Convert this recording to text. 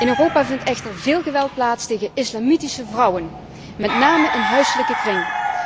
In Europa vindt echter veel geweld plaats tegen islamitische vrouwen, met name in de huiselijke kring.